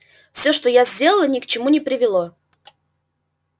все что я сделала ни к чему не привело